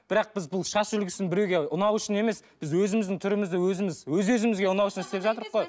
бірақ біз бұл шаш үлгісін біреуге ұнау үшін емес біз өзіміздің түрімізді өзіміз өз өзімізге ұнау үшін істеп қой